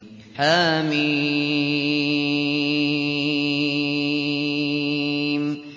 حم